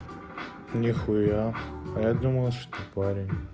нехуя а я думала что ты парень